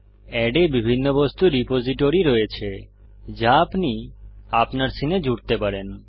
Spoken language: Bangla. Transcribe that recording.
এড এ বিভিন্ন বস্তুর রিপোজিটরী রয়েছে যা আপনি আপনার সীনে জুড়তে পারেন